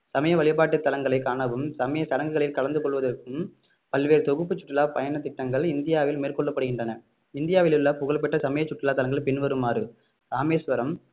சமய வழிபாட்டு தளங்களை காணவும் சமய சடங்குகளில் கலந்து கொள்வதற்கும் பல்வேறு தொகுப்பு சுற்றுலா பயணத்திட்டங்கள் இந்தியாவில் மேற்கொள்ளப்படுகின்றன இந்தியாவிலுள்ள புகழ்பெற்ற சமய சுற்றுலா தலங்கள் பின்வருமாறு ராமேஸ்வரம்